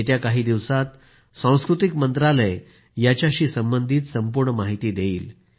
येत्या काही दिवसात सांस्कृतिक मंत्रालय याच्याशी संबंधित सारी माहिती देईल